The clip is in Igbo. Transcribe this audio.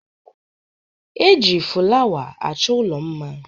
E ji fụlawa achọ ụlọ mma.